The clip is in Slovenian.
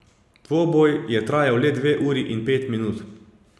Dvoboj je trajal le dve uri in pet minut.